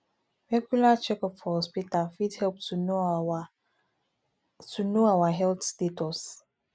regular checkup for hospital fit help to know our to know our health status